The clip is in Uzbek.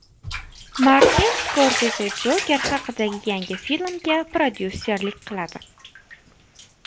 Martin Skorseze Joker haqidagi yangi filmga prodyuserlik qiladi.